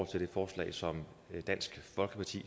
til det forslag som dansk folkeparti